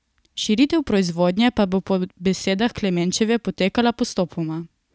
Širitev proizvodnje pa bo po besedah Klemenčeve potekala postopoma.